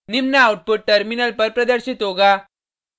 निम्न output terminal पर प्रदर्शित होगा